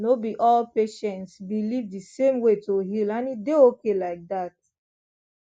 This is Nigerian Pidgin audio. no be all patients believe the same way to heal and e dey okay like that